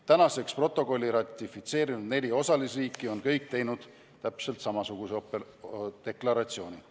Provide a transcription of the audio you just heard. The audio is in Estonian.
Tänaseks protokolli ratifitseerinud neli osalisriiki on kõik teinud täpselt samasuguse deklaratsiooni.